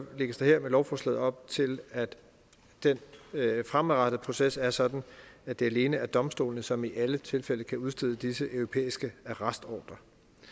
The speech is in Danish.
lægges der med lovforslaget op til at den fremadrettede proces er sådan at det alene er domstolene som i alle tilfælde kan udstede disse europæiske arrestordrer